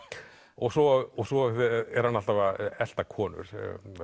og svo og svo er hann alltaf að elta konur